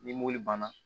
Ni mobili banna